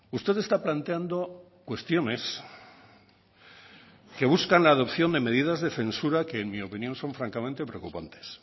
usted está planteando cuestiones que buscan la adopción de medidas de censura que en mi opinión son francamente preocupantes